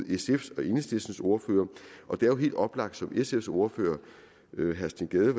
sfs og enhedslistens ordførere og det er jo helt oplagt som sfs ordfører herre steen gade